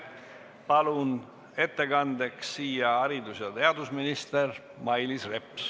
Palun ettekandeks kõnetooli haridus- ja teadusminister Mailis Repsi.